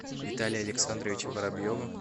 виталия александровича воробьева